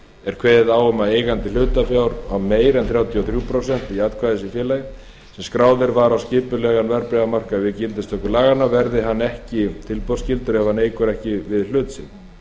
er kveðið á um að ef eigandi hlutafjár á meira en þrjátíu og þrjú prósent atkvæðisréttar í félagi sem skráð var á skipulegan verðbréfamarkað við gildistöku laganna verði hann ekki tilboðsskyldur ef hann eykur ekki við hlut sinn